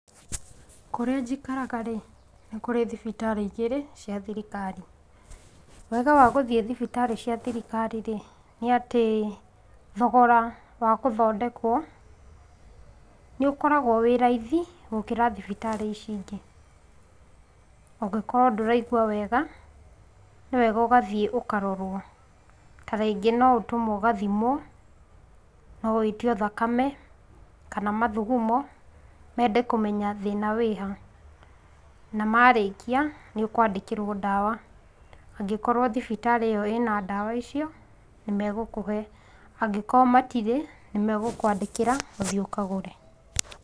Kũrĩa njikaraga rĩ nĩ kũrĩ thibitarĩ igĩrĩ cia thirikari. Wega wa gũthiĩ thibitarĩ cia thirikari rĩ, nĩ atĩ thogora wa gũthondekwo nĩũkoragwo wĩ raithi gũkĩra thibitarĩ ici ingĩ. Ũngĩkorwo ndũraigua wega nĩ wega ũgathiĩ ũkarorwo, ta ringĩ no ũtũmwo ũgathimwo, no wĩtio thakame kana mathugumo mende kũmenya thina wĩ ha. Na marĩkia nĩũkwandĩkĩrwo ndawa, angĩkorwo thibitarĩ ĩ yo ĩ na ndawa icio nĩmegũkũhe, angĩkorwo matirĩ nĩmegũkũandĩkĩra ũthiĩ ũkagũre.